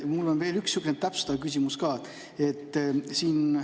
Mul on veel üks täpsustav küsimus ka.